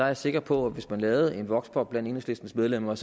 er sikker på at hvis man lavede en voxpop blandt enhedslistens medlemmer